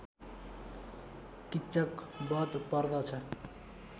किच्चक बध पर्दछ